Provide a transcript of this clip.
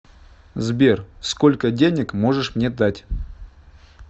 сбер сколько денег можешь мне дать